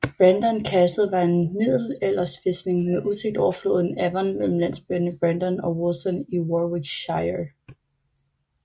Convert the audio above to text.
Brandon Castle var en middelalderfæstning med udsigt over floden Avon mellem landsbyerne Brandon og Wolston i Warwickshire